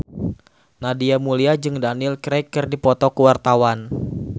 Nadia Mulya jeung Daniel Craig keur dipoto ku wartawan